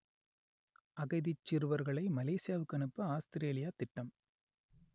அகதிச் சிறுவர்களை மலேசியாவுக்கு அனுப்ப ஆஸ்திரேலியா திட்டம்